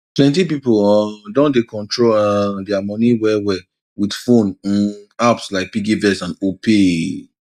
plenty pipo um don dey control um dia money well well with phone um apps like piggyvest and opay